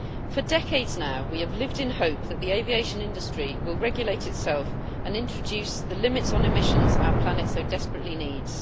For decades now, we have lived in hope that the aviation industry will regulate itself and introduce the limits on emissions our planet so desperately needs.